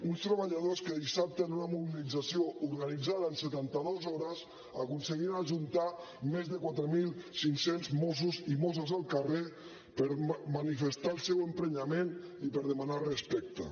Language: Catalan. uns treballadors que dissabte en una mobilització organitzada en setanta dues hores aconseguien ajuntar més de quatre mil cinc cents mossos i mosses al carrer per manifestar el seu emprenyament i per demanar respecte